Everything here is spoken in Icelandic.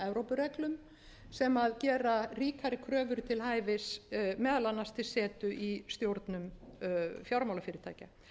evrópureglum sem gera ríkari kröfur til hæfis meðal annars til setu í stjórnum fjármálafyrirtækja